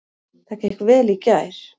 Það gekk vel í gær.